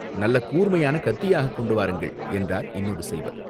நல்ல கூர்மையான கத்தியாகக் கொண்டு வாருங்கள்!" என்றார் இன்னொரு சைவர்.